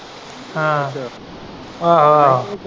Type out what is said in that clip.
ਹਾਂ ਅੱਛਾ ਆਹੋ ਆਹੋ।